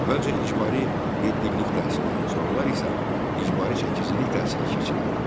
Əvvəlcə icbari yeddiillik təhsilə, sonralar isə icbari səkkizillik təhsilə keçirildi.